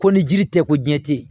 Ko ni jiri tɛ ko diɲɛ tɛ yen